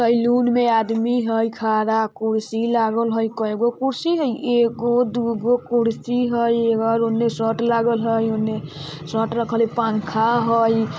सैलून में आदमी हय खड़ा कुर्सी लागल हय कएगो कुर्सी हई एगो दुगो कुर्सी हई इधर ओने शर्ट लागल हय ओने शर्ट रखल हय पंखा हई।